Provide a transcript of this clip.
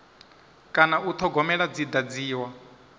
kana u thogomelwa dzi dadziwa